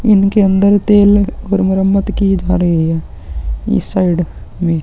इनके अंदर तेल और मरमत की जा रही है इस साइड में।